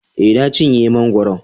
E, Na cinye mangwaron.